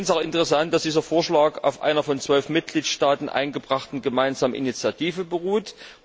Ich finde es auch interessant, dass dieser Vorschlag auf einer von 12 Mitgliedstaaten eingebrachten gemeinsamen Initiative beruht.